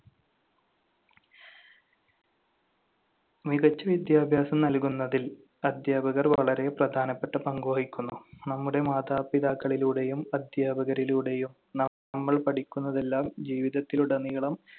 മികച്ച വിദ്യാഭ്യാസം നൽകുന്നതിൽ അധ്യാപകർ വളരെ പ്രധാനപ്പെട്ട പങ്ക് വഹിക്കുന്നു. നമ്മുടെ മാതാപിതാക്കളിലൂടെയും അധ്യാപകരിലൂടെയും നമ്മൾ പഠിക്കുന്നതെല്ലാം ജീവിതത്തിലുടനീളം